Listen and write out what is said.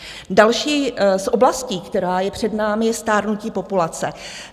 Další z oblastí, která je před námi, je stárnutí populace.